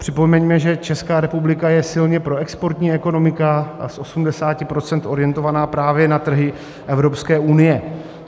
Připomeňme, že Česká republika je silně proexportní ekonomika a z 80 % orientovaná právě na trhy Evropské unie.